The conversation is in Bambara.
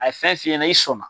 A ye fɛn f'i ɲɛna i sɔn na.